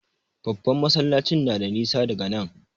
Babban masallacin na da nisa daga nan.